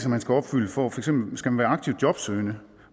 man skal opfylde for eksempel skal man være aktivt jobsøgende